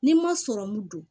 Ni n ma sɔrɔmu don